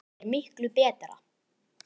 Það er miklu betra.